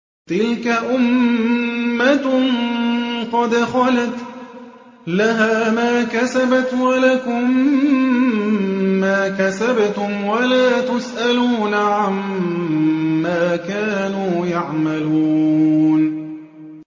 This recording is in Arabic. تِلْكَ أُمَّةٌ قَدْ خَلَتْ ۖ لَهَا مَا كَسَبَتْ وَلَكُم مَّا كَسَبْتُمْ ۖ وَلَا تُسْأَلُونَ عَمَّا كَانُوا يَعْمَلُونَ